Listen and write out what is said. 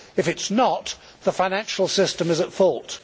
If it is not, the financial system is at fault'.